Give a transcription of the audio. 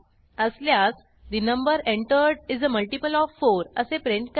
असल्यास the number entered is a multiple of 4 असे print करा